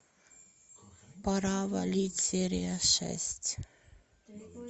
пора валить серия шесть